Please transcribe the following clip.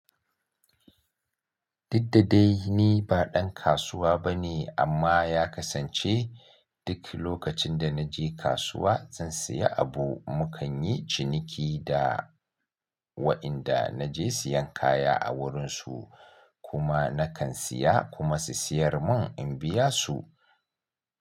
Diddadai ni ba dan kasuwa bane amma ya kasance duk lokacin da na je kasuwa zan siya abu mukan yi ciniki da wa inda na je siyan kaya a wurinsu kuma nakan siya kuma su siyar mun in biya su.